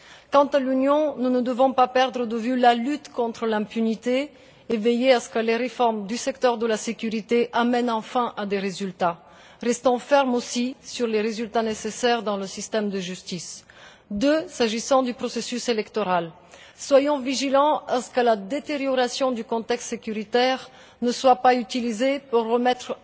Quant à l'Union, nous ne devons pas perdre de vue la lutte contre l'impunité et veiller à ce que les réformes du secteur de la sécurité mènent enfin à des résultats. Restons fermes aussi sur les résultats nécessaires dans le système de justice. En deuxième lieu, s'agissant du processus électoral, veillons à ce que la détérioration du contexte sécuritaire ne soit pas utilisée pour remettre